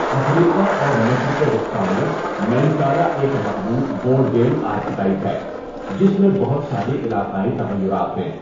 افریقہ اور مشرق وسطی میں، مینکالا ایک مقبول بورڈ گیم آرکیٹائپ ہے جس میں بہت ساری علاقائی تغیرات ہیں۔